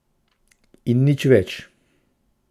In nič več.